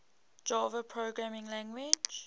java programming language